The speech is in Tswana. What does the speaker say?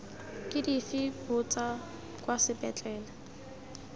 ke dife botsa kwa sepetlele